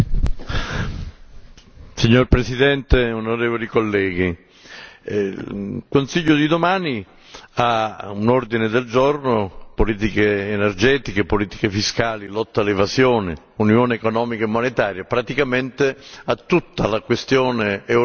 Signor Presidente, onorevoli colleghi, il Consiglio di domani ha all'ordine del giorno politiche energetiche, politiche fiscali, lotta all'evasione, unione economica e monetaria, praticamente tutta la questione europea nel suo complesso.